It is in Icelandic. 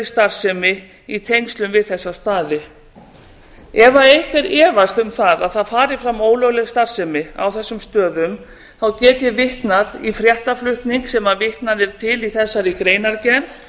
starfsemi í tengslum við þessa staði ef einhver efast um það að það fari fram ólögleg starfsemi á þessum stöðum get ég vitnað í fréttaflutning sem vitnað er til í þessari greinargerð